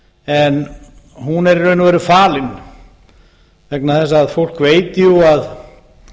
en hún er í raun og veru falin vegna þess að fólk veit jú að